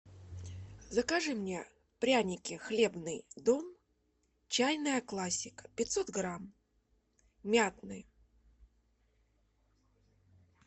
закажи мне пряники хлебный дом чайная классика пятьсот грамм мятные